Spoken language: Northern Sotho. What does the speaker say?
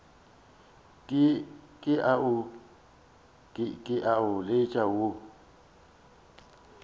ke a o letša wo